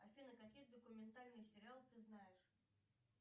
афина какие документальные сериалы ты знаешь